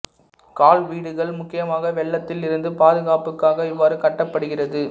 கால் வீடுகள் முக்கியமாக வெள்ளத்தில் இருந்து பாதுகாப்புக்காக இவ்வாறு கட்டப்படுகிறது